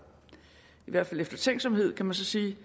i hvert fald eftertænksomhed kan man så sige